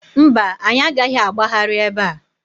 Mba, anyị agaghị agbagharị ebe a.